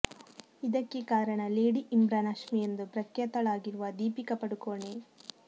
ಇದಕ್ಕೆ ಕಾರಣ ಲೇಡಿ ಇಮ್ರಾನ್ ಹಶ್ಮಿ ಎಂದು ಪ್ರಖ್ಯಾತ ಳಾಗಿರುವ ದೀಪಿಕ ಪಡುಕೋಣೆ